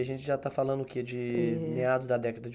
A gente já está falando o quê, de meados da década de